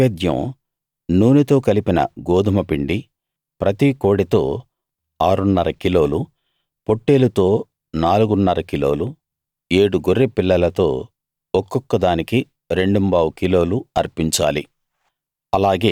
వాటి నైవేద్యం నూనెతో కలిపిన గోదుమపిండి ప్రతి కోడెతో ఆరున్నర కిలోలు పొట్టేలుతో నాలుగున్నర కిలోలు ఏడు గొర్రె పిల్లలతో ఒక్కొక్క దానికి రెండుంబావు కిలోలు అర్పించాలి